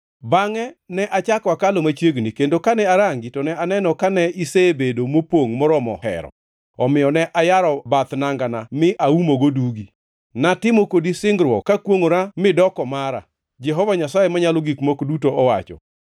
“ ‘Bangʼe ne achako akalo machiegni, kendo kane arangi to ne aneno ni ne isebedo mopongʼ moromo hero, omiyo ne ayaro bath nangana mi aumogo dugi. Natimo kodi singruok kakwongʼora midoko mara, Jehova Nyasaye Manyalo Gik Moko Duto owacho.